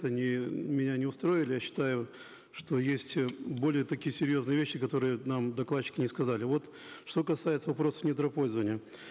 они меня не устроили я считаю что есть более такие серьезные вещи которые нам докладчики не сказали вот что касается вопросов недропользования